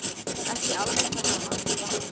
Ekki alveg það sama.